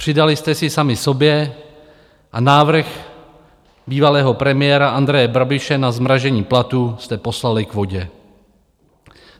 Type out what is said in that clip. Přidali jste si sami sobě a návrh bývalého premiéra Andreje Babiše na zmrazení platů jste poslali k vodě.